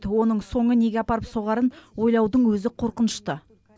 оның соңы неге апарып соғарын ойлаудың өзі қорынышты